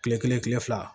Kile kelen kile fila